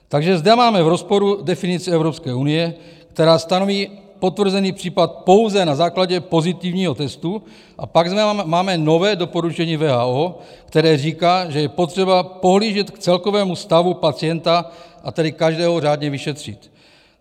Takže zde máme v rozporu definici Evropské unie, která stanoví potvrzený případ pouze na základě pozitivního testu, a pak máme nové doporučení WHO, které říká, že je potřeba pohlížet k celkovému stavu pacienta, a tedy každého řádně vyšetřit.